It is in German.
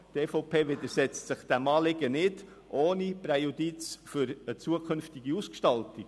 Die EVP widersetzt sich diesem Anliegen nicht – ohne Präjudiz für eine künftige Ausgestaltung.